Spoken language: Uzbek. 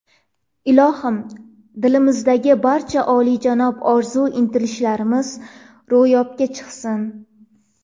Ilohim, dilimizdagi barcha olijanob orzu-intilishlarimiz ro‘yobga chiqsin!